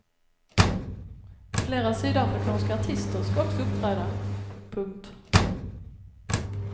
Flera sydafrikanska artister ska också uppträda. punkt